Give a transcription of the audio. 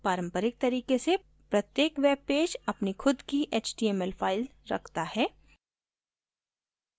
पारंपरिक तरीके से प्रत्येक webpage अपनी खुद की html file रखता है